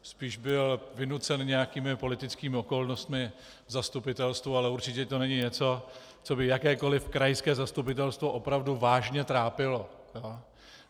Spíše byl vynucen nějakými politickými okolnostmi v zastupitelstvu, ale určitě to není něco, co by jakékoliv krajské zastupitelstvo opravdu vážně trápilo.